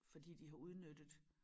Fordi de har udnyttet